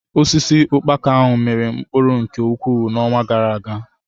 Osisi ukpaka ahụ miri mkpụrụ nke ukwuu n'ọnwa gara-aga.